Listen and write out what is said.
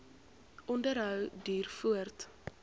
onderhou duur voort